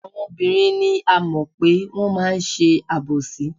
Àwọn obìnrin ni a mọ̀ pé wọ́n máa ń ṣe àbòsí.